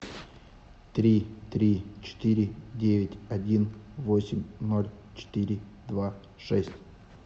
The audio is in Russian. три три четыре девять один восемь ноль четыре два шесть